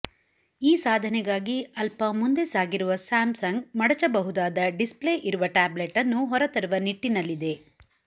ಈ ಸಾಧನೆಗಾಗಿ ಅಲ್ಪ ಮುಂದೆ ಸಾಗಿರುವ ಸ್ಯಾಮ್ಸಂಗ್ ಮಡಚಬಹುದಾದ ಡಿಸ್ಪ್ಲೇ ಇರುವ ಟ್ಯಾಬ್ಲೆಟ್ ಅನ್ನು ಹೊರತರುವ ನಿಟ್ಟಿನಲ್ಲಿದೆ